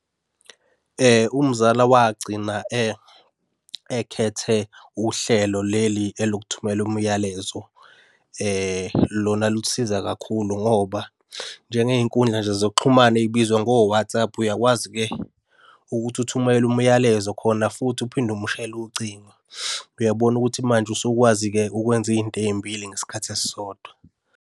Umzala wagcina ekhethe uhlelo leli eliokuthumela umlayezo. Lona lusiza kakhulu ngoba njengey'nkundla nje zokuxhumana ey'bizwa ngo-WhatsApp uyakwazi-ke ukuthi uthumele umyalezo khona futhi uphinde umshayele ucingo. Uyabona ukuthi manje usukwazi-ke ukwenza iy'nto ey'mbili ngesikhathi esisodwa.